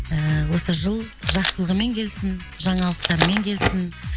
ііі осы жыл жақсылығымен келсін жаңалықтармен келсін